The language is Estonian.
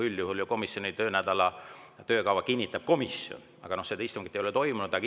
Üldjuhul ju komisjoni töönädala töökava kinnitab komisjon, aga seda istungit ei ole toimunud.